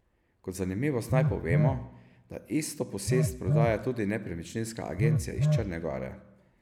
Kot zanimivost naj povemo, da isto posest prodaja tudi nepremičninska agencija iz Črne gore.